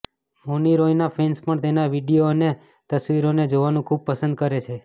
મૌની રોયના ફેન્સ પણ તેના વીડિયો અને તસવીરોને જોવાનું ખૂબ પસંદ કરે છે